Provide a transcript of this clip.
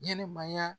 Ɲɛnɛmaya